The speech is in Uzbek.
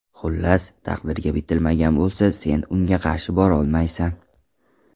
Xullas, taqdirga bitilmagan bo‘lsa, sen unga qarshi borolmaysan.